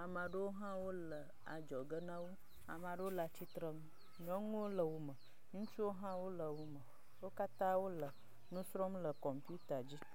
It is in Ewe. ame aɖewole kɔmpita me kpɔm. Ame aɖewo hã wole adzɔge na wo. Ame aɖewo le adzɔge na wo. Nyɔnuwo le wo me, ŋutsuwo hã wole wo me wo katã wole nu srɔ̃m le kɔmpita dzi.